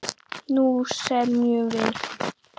Nú semjum við!